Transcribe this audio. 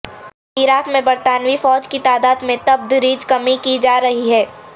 عراق میں برطانوی فوج کی تعداد میں تبدریج کمی کی جا رہی ہے